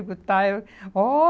Eu digo, tá. Eu, ó